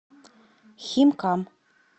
химкам